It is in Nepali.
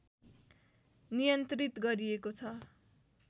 नियन्त्रित गरिएको छ